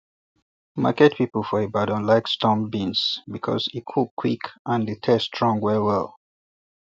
market people for ibadan like storm beans because e cook quick and the taste strong well well